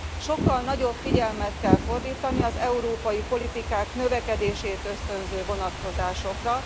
Sokkal nagyobb figyelmet kell fordítani az európai politikák növekedését ösztönző vonatkozásokra.